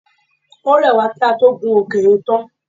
Ó rẹ̀ wá kí á tó gun òkè yẹn tán.